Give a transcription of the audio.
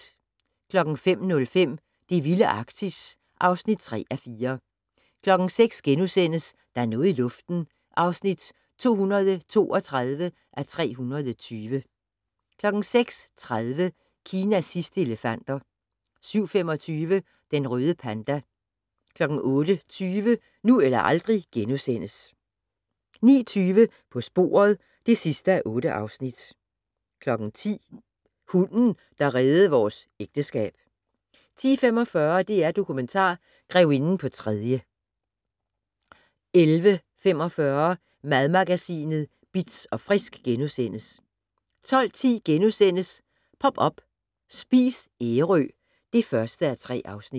05:05: Det vilde Arktis (3:4) 06:00: Der er noget i luften (232:320)* 06:30: Kinas sidste elefanter 07:25: Den røde panda 08:20: Nu eller aldrig * 09:20: På sporet (8:8) 10:00: Hunden, der reddede vores ægteskab 10:45: DR Dokumentar - Grevinden på tredje 11:45: Madmagasinet Bitz & Frisk * 12:10: Pop up - Spis Ærø (1:3)*